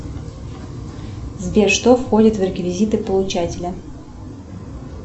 сбер что входит в реквизиты получателя